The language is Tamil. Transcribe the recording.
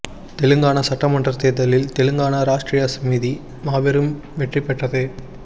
தெலுங்கானா சட்டமன்ற தேர்தலில் தெலுங்கானா ராஷ்டிரிய சமிதி மாபெரும் வெற்றி பெற்றது